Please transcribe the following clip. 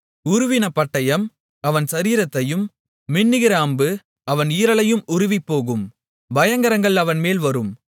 உருவின பட்டயம் அவன் சரீரத்தையும் மின்னுகிற அம்பு அவன் ஈரலையும் உருவிப்போகும் பயங்கரங்கள் அவன்மேல் வரும்